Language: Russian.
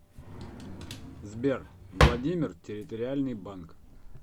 сбер владимир территориальный банк